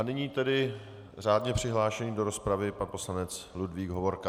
A nyní tedy řádně přihlášený do rozpravy pan poslanec Ludvík Hovorka.